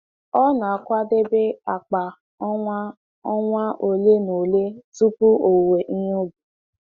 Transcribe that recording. Ọ na-akwadebe akpa ọnwa ọnwa ole na ole tupu owuwe ihe ubi.